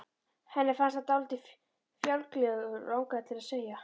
Henni fannst hann dálítið fjálglegur, og langaði til að segja